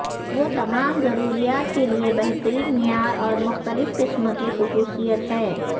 وہ تمام ضروریات کے لئے بہترین معیار اور مختلف قسم کی خصوصیت ہیں